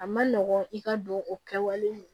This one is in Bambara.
A ma nɔgɔn i ka don o kɛwale